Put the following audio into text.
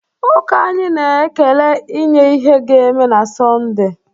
Ụka anyị na-ekele inye ihe ga-eme na Sọnde